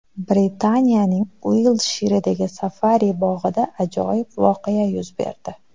Britaniyaning Uiltshiredagi safari-bog‘ida ajoyib voqea yuz berdi.